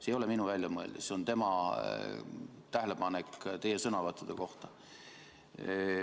See ei ole minu väljamõeldis, see on tema tähelepanek teie sõnavõttude kohta.